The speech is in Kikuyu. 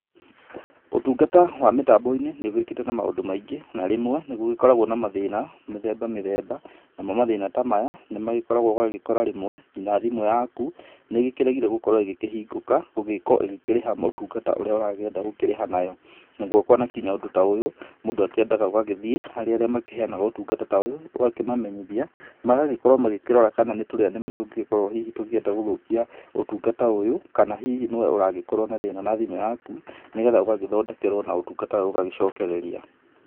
Ũtungata wa mĩtambo-inĩ nĩ ũgĩũkĩte na maũndu maingĩ, na rĩmwe nĩgũgĩkoragwo na mathĩna mĩthemba mĩthemba, namo mathĩna ta maya nĩmagĩkoragwo, ũgakora rĩmwe, nginya thimu yaku nĩĩgĩkĩregire gũkorwo ĩgĩkĩhingũka, gũgĩkorwo ĩgĩkĩrĩha ũtungata urĩa ũrakĩenda gukĩrĩha nayo. Ũrĩkuona kinya ũndũ ta ũyu mũndũ akĩendaga ũgagĩthiĩ harĩ arĩa makĩheanaga ũtungata ta ũyũ ũgakĩmamenyithia magagĩkorwo magĩkĩrora kana nĩ tũrĩa nĩme tũngĩgĩkorwo hihi tũkĩenda gũgũikia ũtungata ũyũ kana hihi nĩwe aragĩkorwo na thĩna na thimũ yaku, nĩgetha ũgagĩthondekerwo na ũtungata ũyũ ũgagĩcokereria.